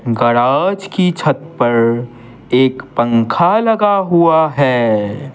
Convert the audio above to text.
Garage की छत पर एक पंखा लगा हुआ है।